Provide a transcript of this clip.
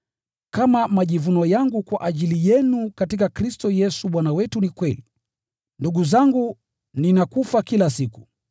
Kama majivuno yangu kwa ajili yenu katika Kristo Yesu Bwana wetu ni kweli, ndugu zangu, ninakufa kila siku.